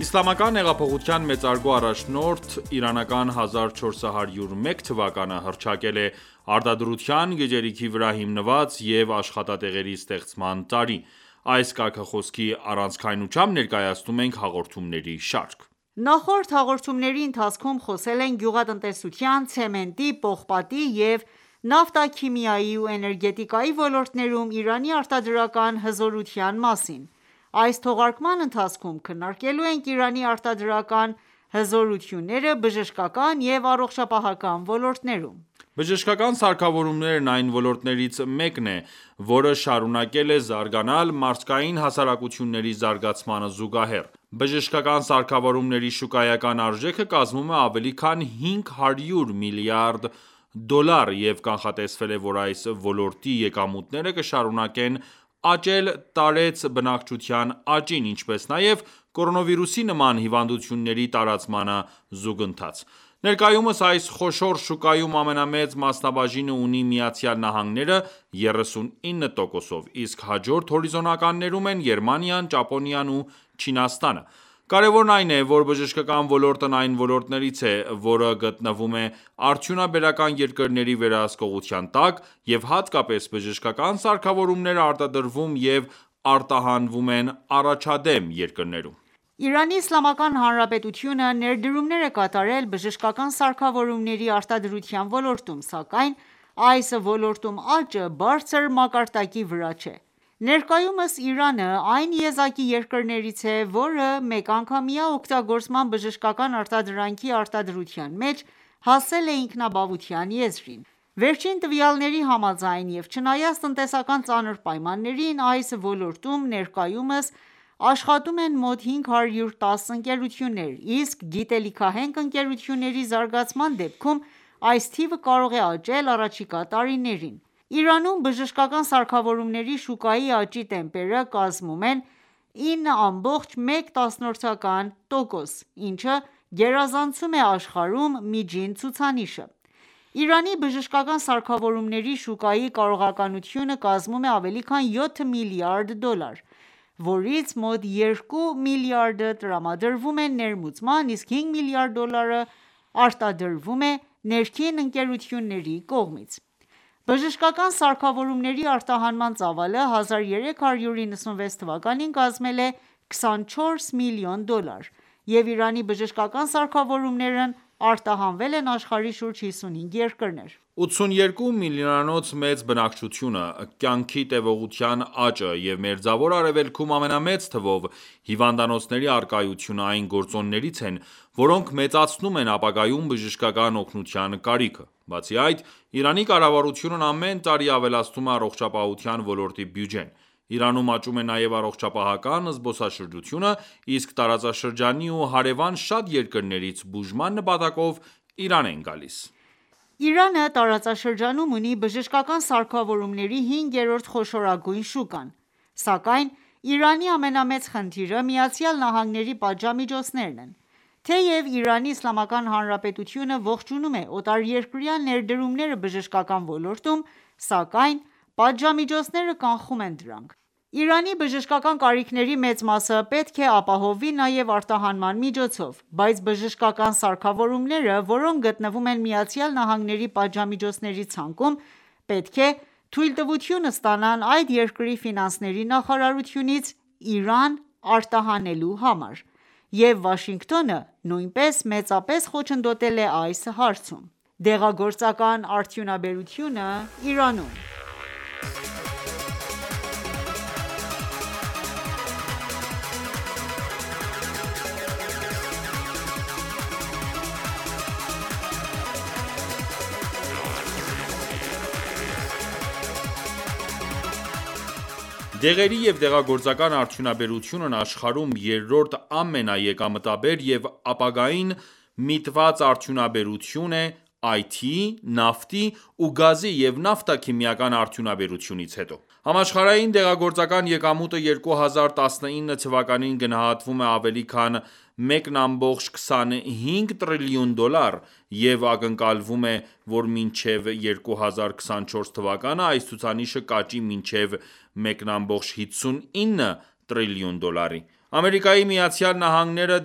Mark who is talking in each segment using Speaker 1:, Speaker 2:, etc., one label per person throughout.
Speaker 1: Իսլամական հեղափոխության մեծարգո առաջնորդ իրանական 1401 թվականը հռչակել է «Արտադրության, գիտելիքի վրա հիմնված և աշխատատեղերի ստեղծման տարի»։ Այս կարգախոսի առանցքայնությամբ ներկայացնում ենք հաղորդումների շարք։
Speaker 2: Նախորդ հաղորդումների ընթացքում խոսել ենք գյուղատնտեսության, ցեմենտի, պողպատի և նավթաքիմիայի ու էներգետիկայի ոլորտներում Իրանի արտադրական հզորության մասին:Այս թողարկման ընթացքում քննարկելու ենք Իրանի արտադրական հզորությունները բժշկական և առողջապահական ոլորտներում։
Speaker 1: Բժշկական սարքավորումներն այն ոլորտներից մեկն է, որը շարունակել է զարգանալ, մարդկային հասարակությունների զարգացմանը զուգահեռ: Բժշկական սարքավորումների շուկայական արժեքը կազմում է ավելի քան 500 միլիարդ դոլար, և կանխատեսվել է, որ այս ոլորտի եկամուտները կշարունակեն աճել տարեց բնակչության աճին, ինչպես նաև կորոնավիրուսի նման հիվանդությունների տարածմանը զուգընթաց։ Ներկայումս այս խոշոր շուկայում ամենամեծ մասնաբաժինը ունի ԱՄՆ-ը՝ 39%, իսկ հաջորդ հորիզոնականներում են Գերմանիան, Ճապոնիան ու Չինաստանը։ Կարևորն այն է, որ բժշկական ոլորտն այն ոլորտներից է, որը գտնվում է արդյունաբերական երկրների վերահսկողության տակ, և հատկապես բժշկական սարքավորումները արտադրվում և արտահանվում են առաջադեմ երկրներում։
Speaker 2: Իրանի Իսլամական Հանրապետությունը ներդրումներ է կատարել բժշկական սարքավորումների արտադրության ոլորտում, սակայն այս ոլորտում աճը բարձր մակարդակի վրա չէ։ Ներկայումս Իրանը այն եզակի երկրներից է, որը մեկանգամյա օգտագործման բժշկական արտադրանքի արտադրության մեջ հասել է ինքնաբավության եզրին։ Վերջին տվյալների համաձայն և չնայած տնտեսական ծանր պայմաններին, այս ոլորտում ներկայումս աշխատում են մոտ 510 ընկերություններ ,իսկ գիտելիքահենք ընկերությունների զարգացման դեպքում այս թիվը կարող է աճել առաջիկա տարիներին։ Իրանում բժշկական սարքավորումների շուկայի աճի տեմպերը կազմում են 9,1%, ինչը գերազանցում է աշխարհում միջին ցուցանիշը։ Իրանի բժշկական սարքավորումների շուկայի կարողականությունը կազմում է ավելի քան 7 միլիարդ դոլար, որից մոտ 2 միլիարդը տրամադրվում է ներմուծման, իսկ 5 միլիարդ դոլարը արտադրվում է ներքին ընկերությունների կողմից։ Բժշկական սարքավորումների արտահանման ծավալը 1396 թվականին կազմել է 24 միլիոն դոլար, և Իրանի բժշկական սարքավորումներն արտահանվել են աշխարհի շուրջ 55 երկրներ:
Speaker 1: 82 միլիոնանոց մեծ բնակչությունը, կյանքի տեւողության աճը և Մերձավոր Արևելքում ամենամեծ թվով հիվանդանոցների առկայությունը այն գործոններից են, որոնք մեծացնում են ապագայում բժշկական օգնության կարիքը:Բացի այդ, Իրանի կառավարությունն ամեն տարի ավելացնում է առողջապահության ոլորտի բյուջեն:Իրանում աճում է նաև առողջապահական զբոսաշրջությունը, իսկ տարածաշրջանի ու հարևան շատ երկրներից բուժման նպատակով Իրան են գալիս։
Speaker 2: Իրանը տարածաշրջանում ունի բժշկական սարքավորումների հինգերորդ խոշորագույն շուկան ։Սակայն Իրանի ամենամեծ խնդիրը ԱՄՆ պատժամիջոցներն են:Թեև Իրանի Իսլամական Հանրապետությունը ողջունում է օտարերկրյա ներդրումները բժշկական ոլորտում, սակայն պատժամիջոցները կանխում են դրանք:Իրանի բժշկական կարիքների մեծ մասը պետք է ապահովվի նաեւ արտահանման միջոցով, բայց բժշկական սարքավորումները, որոնք գտնվում են ԱՄՆ-ի պատժամիջոցների ցանկում, պետք է թույլտվություն ստանան այդ երկրի ֆինանսների նախարարությունից՝ Իրան արտահանելու համար և Վաշինգտոնը նույնպես մեծապես խոչընդոտել է այս հարցում: Դեղագործական արդյունաբերությունը Իրանում
Speaker 1: Դեղերի և դեղագործական արդյունաբերությունն աշխարհում երրորդ ամենաեկամտաբեր և ապագային միտված արդյունաբերություն է՝IT-ի, նավթի ու գազի և նավթաքիմիական արդյունաբերությունից հետո:Համաշխարհային դեղագործական եկամուտը 2019 թվականին գնահատվում է ավելի քան 1,25 տրիլիոն դոլար, և ակնկալվում է, որ մինչև 2024 թվականը այս ցուցանիշը կաճի մինչև 1,59 տրիլիոն դոլարի:Ամերիկայի Միացյալ Նահանգները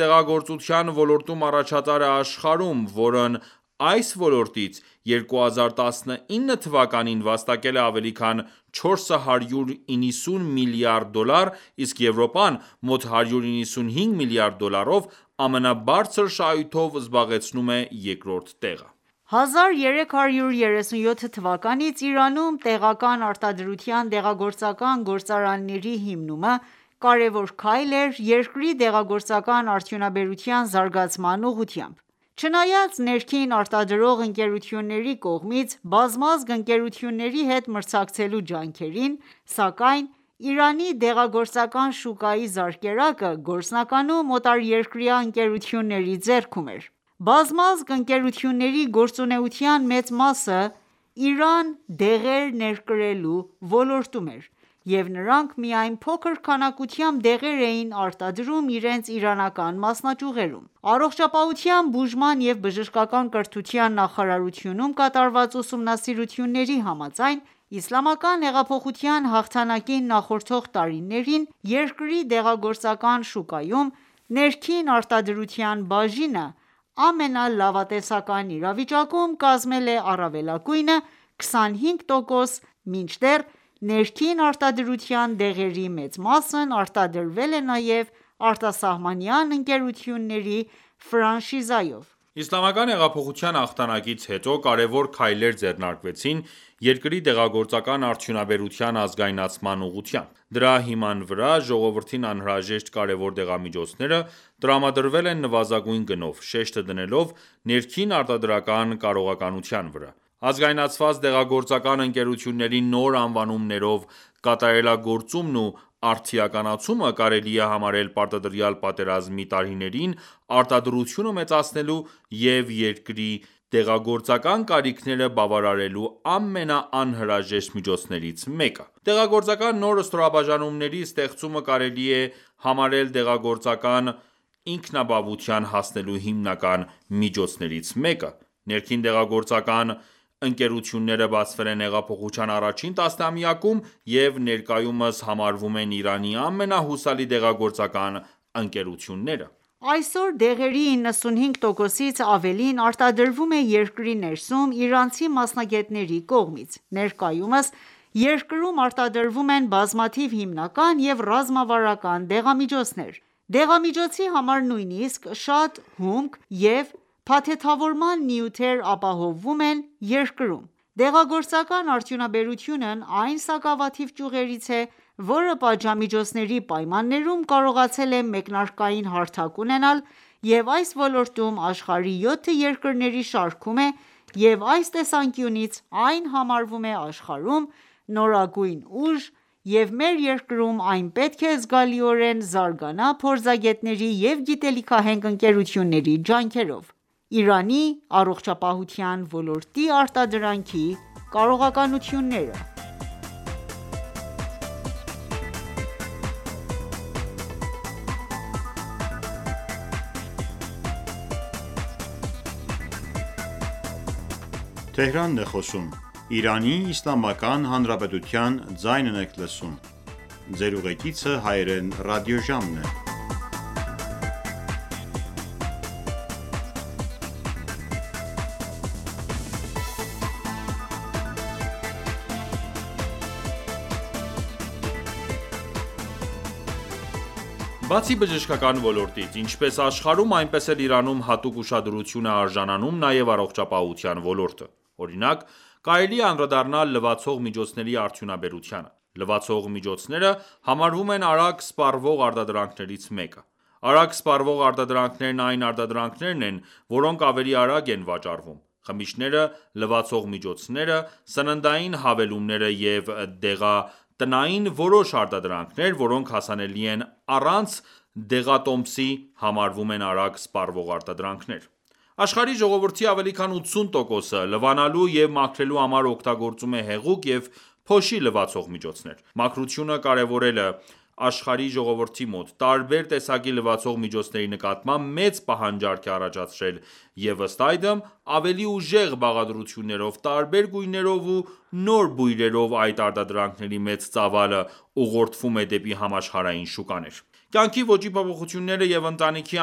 Speaker 1: դեղագործության ոլորտում առաջատար է աշխարհում, որն այս ոլորտից, 2019 թվականին վաստակել է ավելի քան 490 միլիարդ դոլար, իսկ Եվրոպան՝ մոտ 195 միլիարդ դոլարով, ամենաբարձր շահույթով զբաղեցնում է երկրորդ տեղը։
Speaker 2: 1337 թվականից Իրանում տեղական արտադրության դեղագործական գործարանների հիմնումը կարևոր քայլ էր երկրի դեղագործական արդյունաբերության զարգացման ուղղությամբ։ Չնայած ներքին արտադրող ընկերությունների կողմից բազմազգ ընկերությունների հետ մրցակցելու ջանքերին, սակայն Իրանի դեղագործական շուկայի զարկերակը գործնականում օտարերկրյա ընկերությունների ձեռքում էր:Բազմազգ ընկերությունների գործունեության մեծ մասը Իրան դեղեր ներկրելու ոլորտում էր, և նրանք միայն փոքր քանակությամբ դեղեր էին արտադրում իրենց իրանական մասնաճյուղերում։ Առողջապահության, բուժման և բժշկական կրթության նախարարությունում կատարված ուսումնասիրությունների համաձայն՝ Իսլամական հեղափոխության հաղթանակին նախորդող տարիներին երկրի դեղագործական շուկայում ներքին արտադրության բաժինը ամենալավատեսական իրավիճակում կազմել է առավելագույնը 25 տոկոս մինչդեռ, ներքին արտադրության դեղերի մեծ մասն արտադրվել է նաև արտասահմանյան ընկերությունների ֆրանշիզայով։
Speaker 1: Իսլամական հեղափոխության հաղթանակից հետո կարեւոր քայլեր ձեռնարկվեցին երկրի դեղագործական արդյունաբերության ազգայնացման ուղղությամբ:Դրա հիման վրա ժողովրդին անհրաժեշտ կարևոր դեղամիջոցները տրամադրվել են նվազագույն գնով, շեշտը դնելով ներքին արտադրական կարողականության վրա:Ազգայնացված դեղագործական ընկերությունների նոր անվանումներով կատարելագործումն ու արդիականացումը կարելի է համարել պարտադրյալ պատերազմի տարիներին արտադրությունը մեծացնելու և երկրի դեղագործական կարիքները բավարարելու ամենաանհրաժեշտ միջոցներից մեկը։ Դեղագործական նոր ստորաբաժանումների ստեղծումը կարելի է համարել դեղագործական ինքնաբավության հասնելու հիմնական միջոցներից մեկը:Ներքին դեղագործական ընկերությունները բացվել են հեղափոխության առաջին տասնամյակում և ներկայումս համարվում են Իրանի ամենահուսալի դեղագործական ընկերությունները:Այսօր
Speaker 2: դեղերի 95%-ից ավելին արտադրվում է երկրի ներսում՝ իրանցի մասնագետների կողմից:Ներկայումս երկրում արտադրվում են բազմաթիվ հիմնական և ռազմավարական դեղամիջոցներ: Դեղամիջոցի համար նույնիսկ շատ հումք և փաթեթավորման նյութեր ապահովվում են երկրում:Դեղագործական արդյունաբերությունն այն սակավաթիվ ճյուղերից է, որը պատժամիջոցների պայմաններում կարողացել է մեկնարկային հարթակ ունենալ և այս ոլորտում աշխարհի յոթ երկրների շարքում է և այս տեսանկյունից այն համարվում է աշխարհում նորագույն ուժ և մեր երկրում այն պետք է զգալիորեն զարգանա փորձագետների և գիտելիքահենք ընկերությունների ջանքերով։ Իրանի առողջապահության ոլորտի արտադրանքի կարողությունները
Speaker 1: Բացի բժշկական ոլորտից, ինչպես աշխարհում, այնպես էլ Իրանում հատուկ ուշադրության է արժանանում նաև առողջապահության ոլորտը։ Օրինակ՝ կարելի է անդրադառնալ լվացող միջոցների արդյունաբերությանը։ Լվացող միջոցները համարվում են արագ սպառվող արտադրանքներից մեկը։ Արագ սպառվող արտադրանքներն այն արտադրանքներն են, որոնք ավելի արագ են վաճառվում:Խմիչքները, լվացող միջոցները, սննդային հավելումները և դեղատնային որոշ արտադրանքներ, որոնք հասանելի են առանց դեղատոմսի, համարվում են արագ սպառվող արտադրանքներ :Աշխարհի ժողովրդի ավելի քան 80%-ը լվանալու և մաքրելու համար օգտագործում է հեղուկ և փոշի լվացող միջոցներ։ Մաքրությունը կարևորելը աշխարհի ժողովրդի մոտ, տարբեր տեսակի լվացող միջոցների նկատմամբ մեծ պահանջարկ է առաջացրել և ըստ այդմ՝ ավելի ուժեղ բաղադրություններով, տարբեր գույներով ու նոր բույրերով այդ արտադրանքների մեծ ծավալը ուղղորդվում է դեպի համաշխարհային շուկաներ։ Կյանքի ոճի փոփոխությունները և ընտանիքի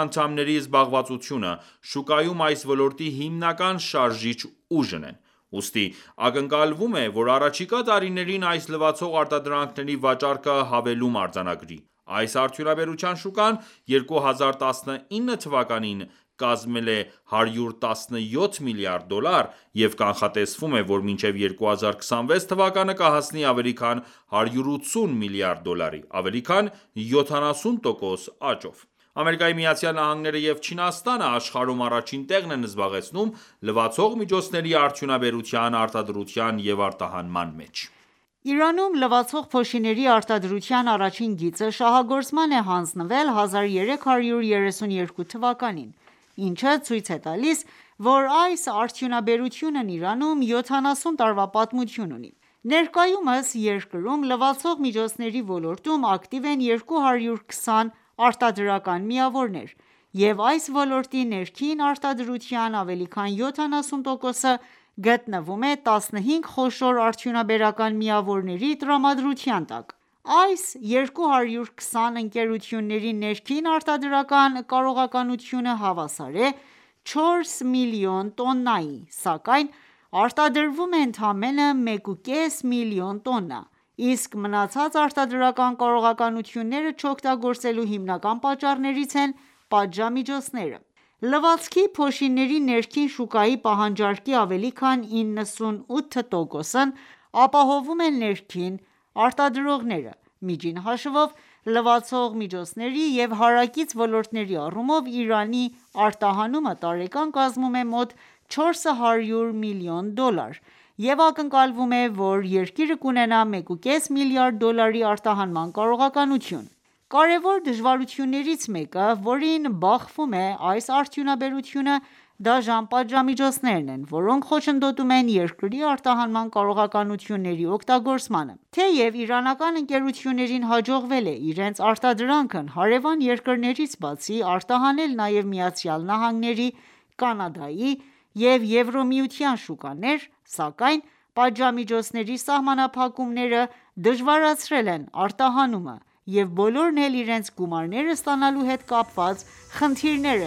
Speaker 1: անդամների զբաղվածությունը, շուկայում այս ոլորտի հիմնական շարժիչ ուժն են:Ուստի ակնկալվում է ,որ առաջիկա տարիներին այս լվացող արտադրանքների վաճառքը հավելում արձանագրի:Այս արդյունաբերության շուկան 2019 թվականին կազմել է 117 միլիարդ դոլար ,և կանխատեսվում է, որ մինչև 2026 թվականը կհասնի ավելի քան 180 միլիարդ դոլարի՝ ավելի քան 70 տոկոս աճով։ ԱՄՆ-ը ​​և Չինաստանը աշխարհում առաջին տեղն են զբաղեցնում լվացող միջոցների արդյունաբերության արտադրության և արտահանման մեջ։
Speaker 2: Իրանում լվացող փոշիների արտադրության առաջին գիծը շահագործման է հանձնվել 1332 թվականին, ինչը ցույց է տալիս, որ այս արդյունաբերությունն Իրանում 70 տարվա պատմություն ունի։ Ներկայումս երկրում, լվացող միջոցների ոլորտում ակտիվ են 220 արտադրական միավորներ, և այս ոլորտի ներքին արտադրության ավելի քան 70%-ը գտնվում է 15 խոշոր արդյունաբերական միավորների տրամադրության տակ։ Այս 220 ընկերությունների ներքին արտադրական կարողականությունը հավասար է 4 մլն տոննայի, սակայն արտադրվում է ընդամենը 1,5 միլիոն տոննա, իսկ մնացած արտադրական կարողականությունները չօգտագործելու հիմնական պատճառներից են՝ պատժամիջոցները։ Լվացքի փոշիների ներքին շուկայի պահանջարկի ավելի քան 98 տոկոսն ապահովում են ներքին արտադրողները:Միջին հաշվով, լվացող միջոցների և հարակից ոլորտների առումով Իրանի արտահանումը տարեկան կազմում է մոտ 400 միլիոն դոլար և ակնկալվում է, որ երկիրը կունենա 1,5 միլիարդ դոլարի արտահանման կարողականություն: Կարևոր դժվարություններից մեկը, որին բախվում է այս արդյունաբերությունը, դաժան պատժամիջոցներն են, որոնք խոչընդոտում են երկրի արտահանման կարողությունների օգտագործմանը։ Թեև իրանական ընկերություններին հաջողվել է իրենց արտադրանքն հարևան երկրներից բացի արտահանել նաև ԱՄՆ-ի, Կանադայի և Եվրամիության շուկաներ, սակայն պատժամիջոցների սահմանափակումները դժվարացրել են արտահանումը, և բոլորն էլ իրենց գումարները ստանալու հետ կապված խնդիրներ